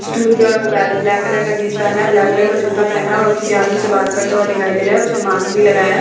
Stool पे और वो ब्लैक कलर का जींस पहना है ब्लैक कलर का जूता पहना है और वो किसी आदमी से बात करता हुआ दिखाई दे रहा है उसने मास्क भी लगाया है।